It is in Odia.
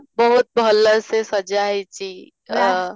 ବହୁତ ଭଲ ସେ ସଜା ହେଇଛି ଆଃ